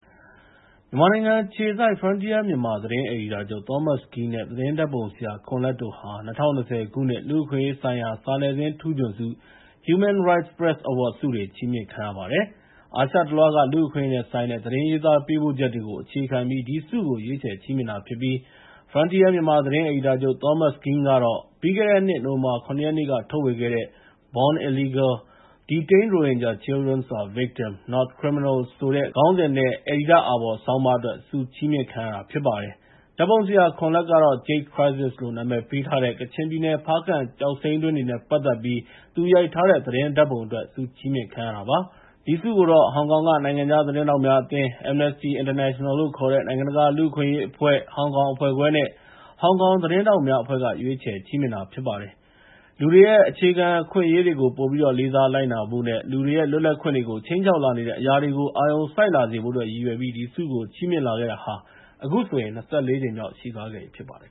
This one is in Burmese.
မြန်မာနိုင်ငံအခြေစိုက် Frontier Myanmar သတင်းအယ်ဒီတာချုပ် Thomas Kean နဲ့ သတင်းဓာတ်ပုံဆရာ ခွန်လတ်တို့ဟာ ၂၀၂၀ ခုနှစ် လူ့အခွင့်အရေးဆိုင်ရာ စာနယ်ဇင်းထူးချွန်ဆုတွေ ချီးမြှင့်ခံရပါတယ်။ အာရှတလွှားက လူ့အခွင့်အရေးနဲ့ဆိုင်တဲ့ သတင်းရေးသားပေးပို့ချက်တွေကို အခြေခံပြီး ဒီဆုကို ရွေးချယ်ချီးမြှင့်တာပါ။ Frontier Myanmar သတင်းအယ်ဒီတာချုပ် Thomas Kean ကပြီးခဲ့တဲ့နှစ် နိုဝင်ဘာ ၇ ရက်နေ့က ထုတ်ဝေခဲ့တဲ့ Frontier မဂ္ဂဇင်းထဲမှာ Born Illegal: Detained Rohingya children are victims, not criminals ဆိုတဲ့ ခေါင်းစဉ်နဲ့ အယ်ဒီတာ့အာဘော်ဆောင်းပါးအတွက် ဆုချီးမြှင့်ခံရတာဖြစ်ပါတယ်။ ဓာတ်ပုံဆရာ ခွန်လတ်ကတော့ Jade Crisis လို့ နာမည်ပေးထားတဲ့ ကချင်ပြည်နယ် ဖားကန့်ကျောက်စိမ်းတွင်းတွေနဲ့ ပတ်သက်ပြီး သူရိုက်ထားတဲ့ သတင်းဓာတ်ပုံအတွက် ဆုချီးမြှင့်ခံရတာပါ။ ဒီဆုကို ဟောင်ကောင်က နိုင်ငံခြားသတင်းထောက်များအသင်း၊ Amnesty International လို့ခေါ်တဲ့ နိုင်ငံတကလူ့အခွင့်အရေးအဖွဲ့၊ ဟောင်ကောင်အဖွဲ့ခွဲနဲ့ ဟောင်ကောင်သတင်းထောက်များအဖွဲ့က ရွေးချယ်ချီးမြှင့်တာဖြစ်ပါတယ်။ လူတွေရဲ့ အခြေခံအခွင့်အရေးတွေကို ပိုပြီးတော့ လေးစား လိုက်နာလာဖို့နဲ့ လူတွေရဲ့ လွတ်လပ်ခွင့်တွေကို ခြိမ်းခြောက်လာနေတဲ့ အရာတွေကို အာရုံစိုက်လာစေဖို့အတွက် ရည်ရွယ်ပြီး ဒီဆုကို ချီးမြှင့်လာခဲ့တာဟာ အခုဆိုရင် ၂၄ ကြိမ်မြောက်ရှိသွားပြီဖြစ်ပါတယ်